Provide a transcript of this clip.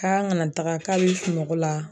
K'an kana taga k'a be sunɔgɔ la